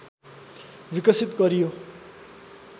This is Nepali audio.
विकसित गरियो